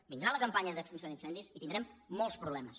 vindrà la campanya d’extinció d’incendis i tindrem molts problemes